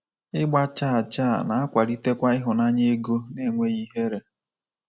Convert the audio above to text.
Ịgba chaa chaa na-akwalitekwa ịhụnanya ego n’enweghị ihere.